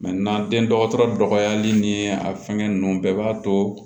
den dɔgɔtɔrɔ dɔgɔyali ni a fɛngɛ ninnu bɛɛ b'a to